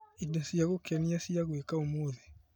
Indo cia gũkenia cia gwĩka ũmũthĩ .